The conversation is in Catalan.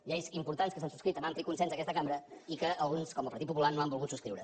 lleis importants que s’han subscrit amb ampli consens d’aquesta cambra i que alguns com el partit popular no han volgut subscriure